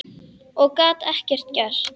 Og gat ekkert gert.